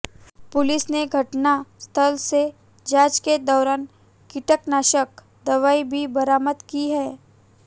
police ने घटना स्थल से जांच के दौरान कीटनाशक दवाई भी बरामद की है